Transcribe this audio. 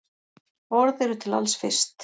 Orð eru til alls fyrst.